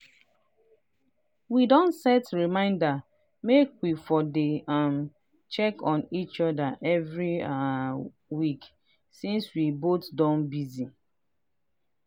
we don set reminder make we for dey um check on each other every um week since we both don busy.